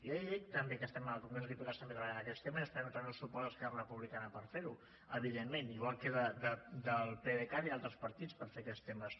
ja li dic també que estem en el congrés dels diputats també treballant aquests temes i esperem trobar el suport d’esquerra republicana per fer ho evidentment igual que del pdecat i d’altres partits per fer aquests temes